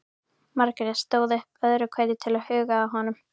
Margrét stóð upp öðru hverju til að huga að honum.